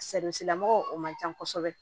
lamɔgɔw o man ca kosɛbɛ